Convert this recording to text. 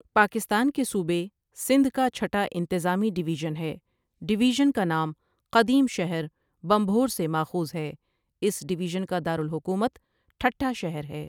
پاکستان کے صوبے، سندھ کا چھٹا انتظامی ڈویژن ہے ڈویژن کا نام قدیم شہر بنبھور سے ماخوذ ہے اس ڈویژن کا دارالحکومت ٹھٹھہ شہر ہے ۔